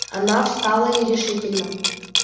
она встала и решительно